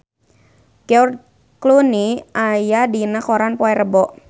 George Clooney aya dina koran poe Rebo